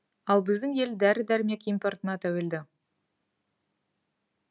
ал біздің ел дәрі дәрмек импортына тәуелді